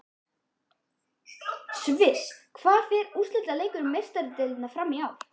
Sviss Hvar fer úrslitaleikur Meistaradeildarinnar fram í ár?